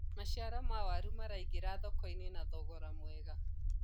maciaro ma waru maraingira thoko-inĩ na thogora mwega